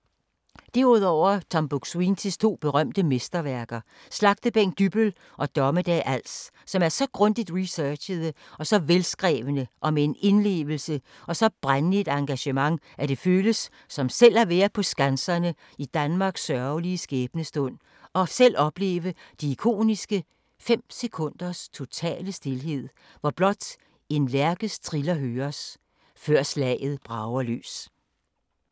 Derudover Tom Buk-Swientys to berømmede mesterværker: Slagtebænk Dybbøl og Dommedag Als, som er så grundigt researchede og så velskrevne med en indlevelse og et så brændende engagement, at det føles som selv at være på Skanserne i Danmarks sørgelige skæbnestund, og opleve de ikoniske fem sekunders totale stilhed, hvor blot en lærkes triller høres, før slaget brager løs ...